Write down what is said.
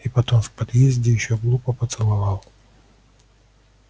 и потом в подъезде её глупо поцеловал